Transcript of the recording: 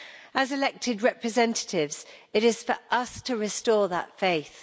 As elected representatives, it is for us to restore that faith.